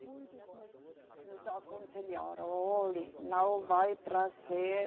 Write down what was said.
Muitos nos, nos aconselharam, olhe, não vai trazer